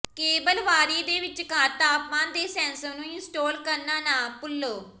cable ਵਾਰੀ ਦੇ ਵਿਚਕਾਰ ਤਾਪਮਾਨ ਦੇ ਸੈਂਸਰ ਨੂੰ ਇੰਸਟਾਲ ਕਰਨਾ ਨਾ ਭੁੱਲੋ